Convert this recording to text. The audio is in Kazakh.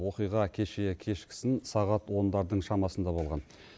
оқиға кеше кешкісін сағат ондардың шамасында болған